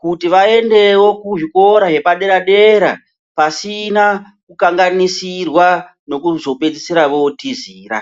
kuti vaendewo kuzvikora zvepadera dera pasina kukanganisirwa nekuzopedzisira votizira.